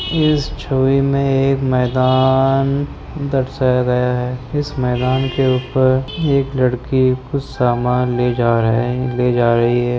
इस मे एक मैदान दर्शाया गया है इस मैदान के ऊपर एक लड़की कुछ समान ले जा रहे ले जा रही हैं।